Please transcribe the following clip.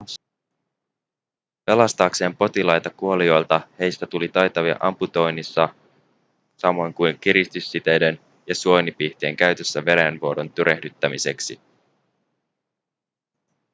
pelastaakseen potilaita kuolioilta heistä tuli taitavia amputoinnissa samoin kuin kiristyssiteiden ja suonipihtien käytössä verenvuodon tyrehdyttämiseksi